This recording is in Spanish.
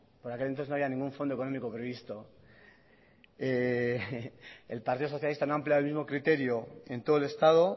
por aquel entonces no había ningún fondo económico previsto el partido socialista no ha ampliado el mismo criterio en todo el estado